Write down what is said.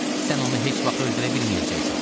Sən onu heç vaxt öldürə bilməyəcəksən.